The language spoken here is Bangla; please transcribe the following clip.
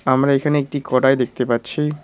আমরা এখানে একটি কড়াই দেখতে পাচ্ছি।